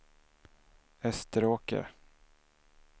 Österåker